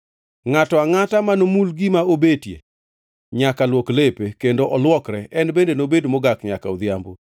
Ngʼato angʼata manomul gima obetie, nyaka luok lepe, kendo olwokre, en bende nobed mogak nyaka odhiambo.